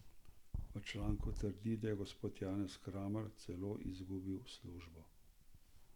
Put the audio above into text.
V članku trdi, da je gospod Janez Kramar celo izgubil službo.